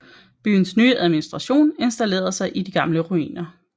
Byens nye administration installerede sig i de gamle ruiner